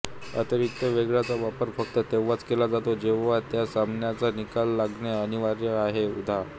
अतिरिक्त वेळाचा वापर फक्त तेव्हाच केला जातो जेव्हा त्या सामन्याचा निकाल लागणे अनिवार्य आहे उदा